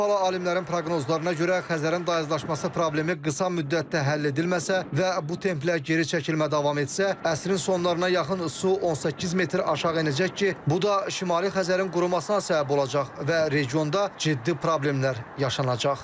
Avropalı alimlərin proqnozlarına görə Xəzərin dayazlaşması problemi qısa müddətdə həll edilməsə və bu templə geri çəkilmə davam etsə, əsrin sonlarına yaxın su 18 metr aşağı enəcək ki, bu da Şimali Xəzərin qurumasına səbəb olacaq və regionda ciddi problemlər yaşanacaq.